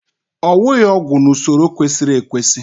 owughị ọgwụ n'usoro kwesịrị ekwesị